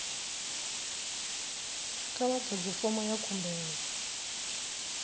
kha vha ḓadze fomo ya khumbelo